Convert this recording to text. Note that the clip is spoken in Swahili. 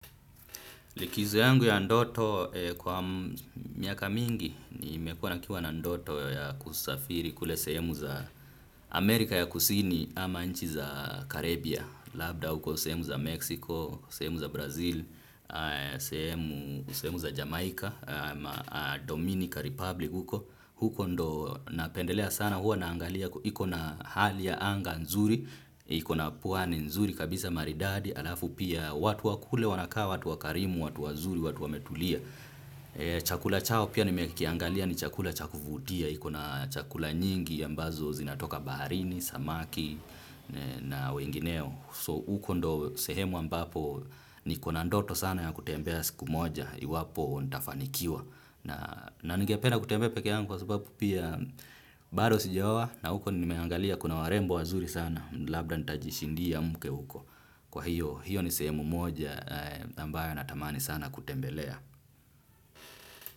Likizo yangu ya ndoto kwa miaka mingi, nimekuwa na kiwa na ndoto ya kusafiri kule sehemu za Amerika ya kusini ama nchi za Karibia. Labda huko sehemu za Meksiko, sehemu za Brazil, sehemu za Jamaica, Dominica Republic huko. Huko ndo napendelea sana, huwa naangalia, iko na hali ya anga nzuri, iko na pwani nzuri, kabisa maridadi, alafu pia watu wa kule wanakaa, watu wakarimu, watu wazuri, watu wametulia. Chakula chao pia nimekiangalia ni chakula cha kuvutia. Iko na chakula nyingi ambazo zinatoka baharini, samaki na wengineo So huko ndiyo sehemu ambapo niko na ndoto sana ya kutembea siku moja. Iwapo nitafanikiwa. Na ningepedna kutembea peke yangu kwa sababu pia bado sijaoa. Na huko nimeangalia kuna warembo wazuri sana. Labda nitajishindia mke huko. Kwa hiyo hiyo ni sehemu moja ambayo natamani sana kutembelea.